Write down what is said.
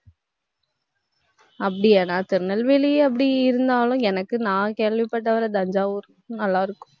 அப்படியா, நான் திருநெல்வேலி அப்படி இருந்தாலும், எனக்கு நான் கேள்விப்பட்டவரை தஞ்சாவூர் நல்லா இருக்கும்.